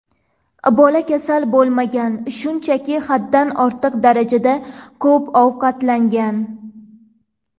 Bola kasal bo‘lmagan, shunchaki haddan ortiq darajada ko‘p ovqatlangan.